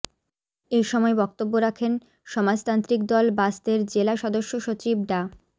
এসময় বক্তব্য রাখেন সমাজতান্ত্রিক দল বাসদের জেলা সদস্য সচিব ডা